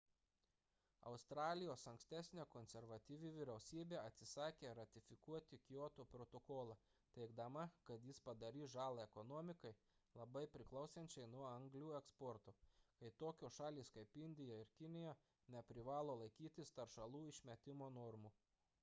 australijos ankstesnė konservatyvi vyriausybė atsisakė ratifikuoti kioto protokolą teigdama kad jis padarys žalą ekonomikai labai priklausančiai nuo anglių eksporto kai tokios šalys kaip indija ir kinija neprivalo laikytis teršalų išmetimo normų